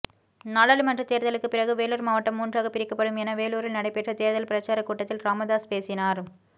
நாடாளுமன்ற தேர்தலுக்கு பிறகு வேலூர் மாவட்டம் மூன்றாக பிரிக்கப்படும் என வேலூரில் நடைபெற்ற தேர்தல் பிரசார கூட்டத்தில் ராமதாஸ் பேசினார்